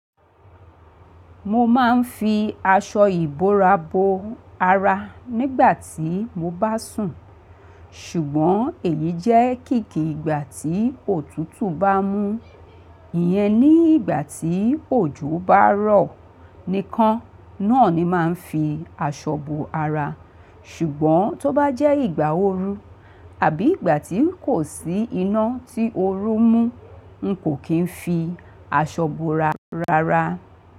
Mo máa ń fi aṣọ ìbora bo ara nígbà tí mo bá sùn. Ṣùgbọ́n èyí jẹ́ kìkì ìgbà tí òtútù bá mú. Iyẹn ní ìgbà tí òjò bá rọ̀ nìkan náà ni n máa ń fi aṣọ bo ara. Ṣùgbọ́n tó bá jẹ́ ìgbà ooru àbí ìgbà tí kò sí iná tí oru mú, n kò kín fi aṣọ bora rárá.